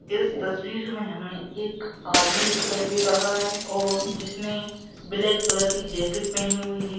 इस तस्वीर में हमें एक आदमी दिखाई दे रहा है और जिसने ब्लैक कलर की जैकेट पहनी हुई है।